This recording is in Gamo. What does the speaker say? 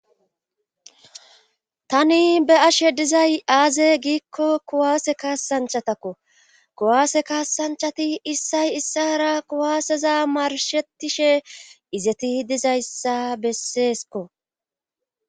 tani be ashe dizay aaze giikko kuwaase kaasanchatakko kuwaase kaasanchati issay issara kuwaaseza marshettishe izeti dizayssa besseesko